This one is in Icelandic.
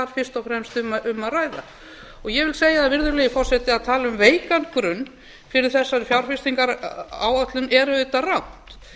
fyrst og fremst er um að ræða ég vil segja það virðulegi forseti að það að tala um veikan grunn fyrir þessari fjárfestingaráætlun er auðvitað rangt